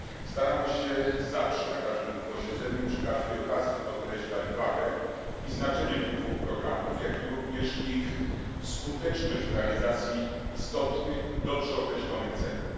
Staramy się zawsze, na każdym posiedzeniu, przy każdej okazji podkreślać wagę i znaczenie tych dwóch programów, jak również ich skuteczność w realizacji istotnych, dobrze określonych celów.